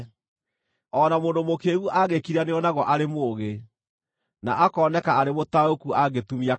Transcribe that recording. O na mũndũ mũkĩĩgu angĩkira nĩonagwo arĩ mũũgĩ, na akoneka arĩ mũtaũku angĩtumia kanua.